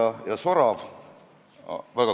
Nad kuulasid mind ära, aga otsustasid eelnõu ära saata.